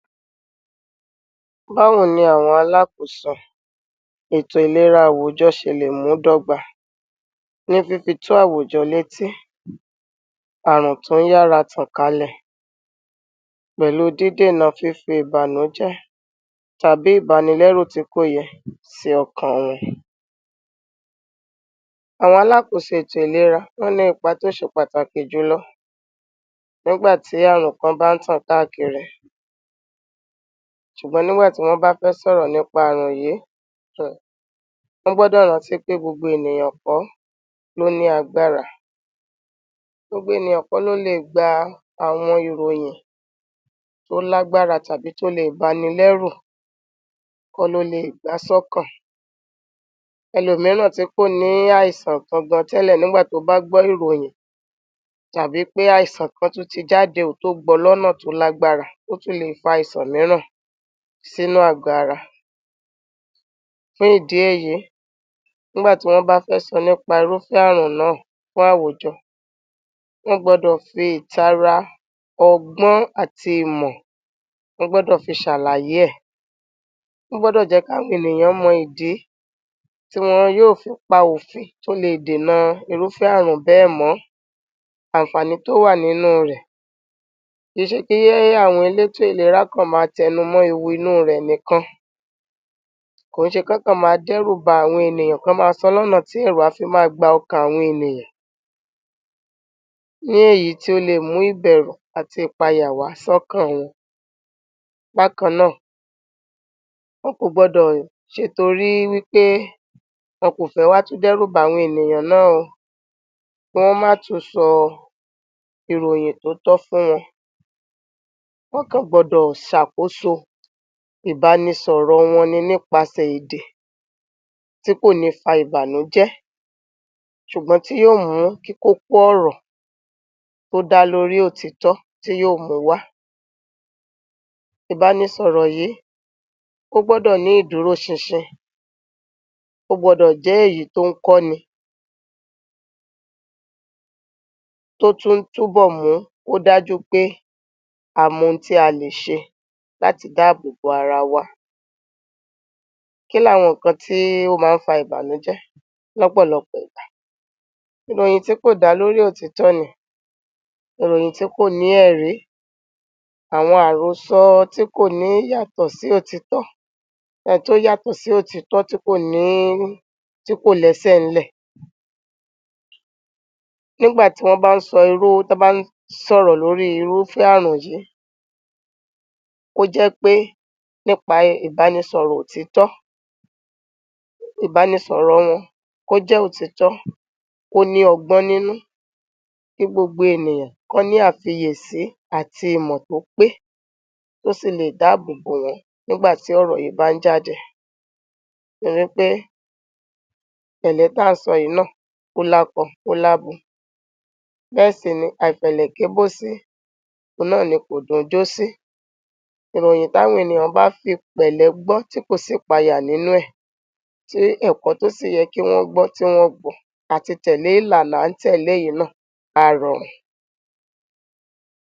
Báwo ni àwọn alákóso ètò ìlera àwùjọ ṣe lè mú un dógba ní fífì tó àwùjọ létí ààrùn tún yára tan kalẹ̀ pẹ̀lú dídé nà fífì ìbànújẹ́ tàbí ìbànílẹ̀rú tikó yẹn sì ọkàn wọn. Àwọn alákòsò ètò ìlera náà ní ìpà tó ṣè pàtàkì jùlọ nígbà tí ààrùn kan bá tàn táa kiri, ṣùgbọ́n nígbà tí wọ́n bá fẹ́ sọ̀rọ̀ nípa ààrùn yìí, wọ́n gbọ́dọ̀ rántí pé gbogbo ènìyàn kò ló ní agbára. Gbogbo ènìyàn kò ló lè gba àwọn ìròyìn tó lágbára tàbí tó lé ìbànílẹ̀rù, kò ló lè gba sọ́kàn. Elòmíràn tí kò ní àìsàn ǹkan gàn tẹ́lẹ̀ nígbà tí ó bá gbọ́ ìròyìn tàbí pé àìsàn kan tú ti jáde tó gbọ́ lọ́nà tó lágbára tó tún lè fà àìsàn míìrá sínú àgọ̀ ara. Fún ìdí èyí, nígbàtí wọ́n bá fẹ́ sọ̀ nípa irúfé ààrùn náà fún àwùjọ, wọ́n gbọ́dọ̀ fi ìtàrà ọgbọ́n àti ìmọ̀, wọ́n gbọ́dọ̀ fi ṣàlàyé. Wọ́n gbọ́dọ̀ jẹ́ káwọn ènìyàn mọ ìdí tí wọ́n yóò fi pa òfin tó lè dènà irúfé ààrùn bẹ́ mọ àǹfàní tó wà nínú rẹ̀. Kí ṣe kí àwọn elé ètò ìlera kan má tẹ́numọ́ ewu inú rẹ̀ nìkan? Kò ṣe kí wọ́n kan má dẹ́rúbà àwọn ènìyàn kan, má sọ lọ́nà tí ẹ̀rù á fi má gba òkàn àwọn ènìyàn ní èyí tí ó lè mú ìbẹ̀rù àti ìpàyà wá sọ́kàn wọn. Bákànnáà, wọ́n kò gbọ́dọ̀ ṣe torí wípé wọ́n kò fẹ́ wá tún dẹ́rúbà àwọn ènìyàn náà, kí wọ́n má tún sọ ìròyìn tótọ́ fún wọn. Wọ́n kàn gbọ́dọ̀ ṣàkóso ìbánisọ̀rọ̀ wọn nípasẹ̀ ìdì tí kò ní fà ìbànújẹ́ ṣùgbọ́n tí yóò mú kí kókọ́ ọ̀rọ̀ kó dá lórí òótọ́ tí yóò mú wá. Ìbánisọ̀rọ̀ yìí ò gbọ́dọ̀ ní ìdúróṣinṣin, kò gbọ́dọ̀ jẹ́ èyí tó ń kọ́ni, tó tún túbọ̀ mú kó dájú pé àá mọ ohun tí a lè ṣe láti dáàbò bo ara wa. Kíláwọn ǹkan tí ó máa ń fà ìbànújẹ́ lọ́pọ̀lọpọ̀? Ìròyìn tí kò dá lórí òótọ́ ni, ìròyìn tí kò ní ẹ̀rí, àwọn àrósọ tí kò ní yàtọ̀ sí òótọ́. Tí ó yàtọ̀ sí òótọ́ tí kò ní-- tí kò lẹ́sẹ̀nlẹ̀. Nígbàtí wọ́n bá ń sọ irú-- tá a bá ń sọ̀rọ̀ lórí irúfé ààrùn yìí, kó jẹ́ pé nípa ìbánisọ̀rọ̀ òótọ́, ìbánisọ̀rọ̀ wọn kó jẹ́ òótọ́, kó ní ọgbọ́n nínú, kí gbogbo ènìyàn kan ní àfiyèsí àti ìmọ̀ tó pé, tó sì lè dáàbò bo wọn nígbàtí ọ̀rọ̀ yìí bá ń jáde. Torípẹ pẹ̀lẹ́ tààsọ̀ yìí náà ó lákọ̀, ó lábọ. Bẹ́ẹ̀ sì ni àìpẹ̀lẹ́ kí bó sì, òun náà ni kò dùn jó sí. Ìròyìn tí àwọn ènìyàn bá fi pẹ̀lẹ́ gbọ́ tí kò sí ìpàyà nínú rẹ̀, tí ẹ̀kọ́ tó sì yẹ kí wọ́n gbọ́ tí wọ́n gbọ̀, àti tẹ̀lé ìlànà n tẹ̀lé yìí náà a rọ̀run.